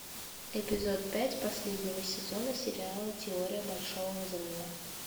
эпизод пять последнего сезона сериала теория большого взрыва